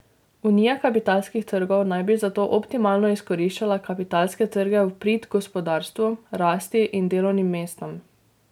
Unija kapitalskih trgov naj bi zato optimalno izkoriščala kapitalske trge v prid gospodarstvu, rasti in delovnim mestom.